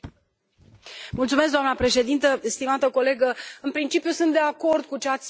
Doamnă președintă, stimată colegă, în principiu sunt de acord cu ce ați spus dumneavoastră.